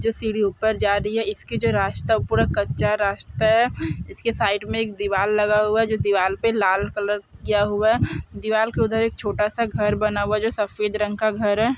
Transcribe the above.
जो सीढ़ी ऊपर जा रही है इसके जो रास्ता ऊ पूरा कच्चा रास्ता है इसके साइड मे एक दीवाल लगा हुआ है जो दीवाल पे लाल कलर किया हुआ है दीवाल के उधर एक छोटा सा घर बना हुआ है जो सफेद रंग का घर है।